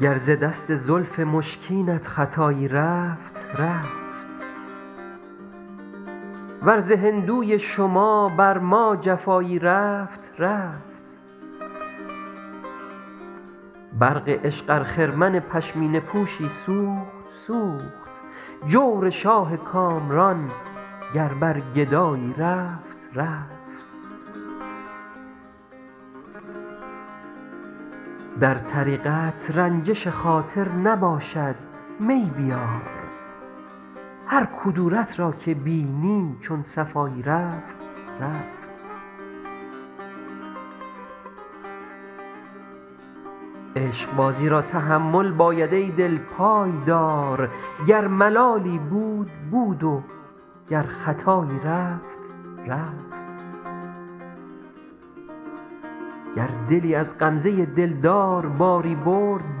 گر ز دست زلف مشکینت خطایی رفت رفت ور ز هندوی شما بر ما جفایی رفت رفت برق عشق ار خرمن پشمینه پوشی سوخت سوخت جور شاه کامران گر بر گدایی رفت رفت در طریقت رنجش خاطر نباشد می بیار هر کدورت را که بینی چون صفایی رفت رفت عشقبازی را تحمل باید ای دل پای دار گر ملالی بود بود و گر خطایی رفت رفت گر دلی از غمزه دلدار باری برد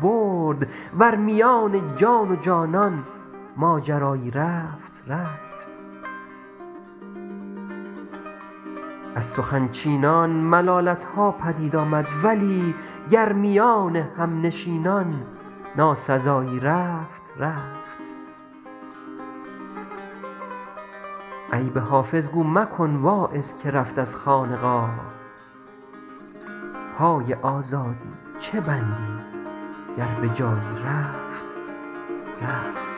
برد ور میان جان و جانان ماجرایی رفت رفت از سخن چینان ملالت ها پدید آمد ولی گر میان همنشینان ناسزایی رفت رفت عیب حافظ گو مکن واعظ که رفت از خانقاه پای آزادی چه بندی گر به جایی رفت رفت